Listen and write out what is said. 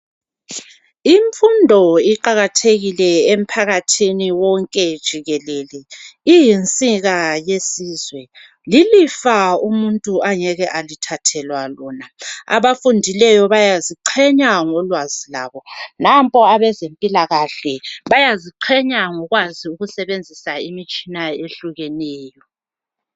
Imfundo iqakathekile emphakathini wonke jikelele. Iyinsika yesizwe. Lilifa umuntu angeke alithathelwa lona. Abafundileyo bayaziqhenya ngolwazi lwabo. Nampa abezempilakahle bayaziqhenya ngokwazi ukusebenzisa imitshina eyehlukeneyo.